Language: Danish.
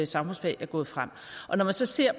samfundsfag er gået frem og når man så ser